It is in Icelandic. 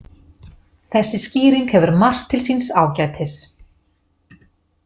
Þessi skýring hefur margt til síns ágætis.